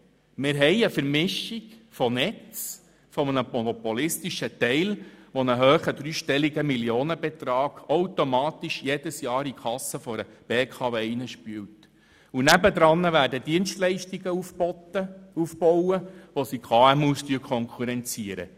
Wir haben eine Vermischung von Netz – einem monopolistischen Anteil, der jährlich einen hohen dreistelligen Millionenbetrag in die Kassen der BKW spült – und dem Aufbau von Dienstleistungen, die KMUs konkurrenzieren.